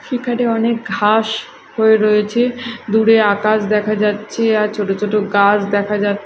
সেখানে অনেক ঘাস হয়ে রয়েছে দূরে আকাশ দেখা যাচ্ছে আর ছোট ছোট গাছ দেখা যা--